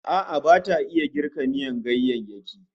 A'a bata iya girka miyan ganyayyaki